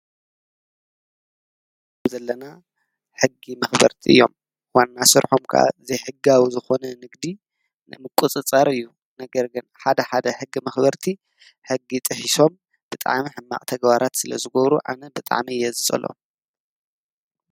እዚ እንሪኦ ዘለና ሕጊ መክበርቲ እዮም። ዋና ስርሖም ክዓ ዘይሕጋዊ ዝኮነ ንግዲ ንምቁፅፃር እዩ። ነገር ግን ሓድ ሓደ ሕጊ መክበርቲ ሕጊ ጥሒሶም ብጣዕሚ ሕማቅ ተግባራት ስለ ዝገብሩ ኣነ ብጣዕሚ እየ ዝፀልኦም።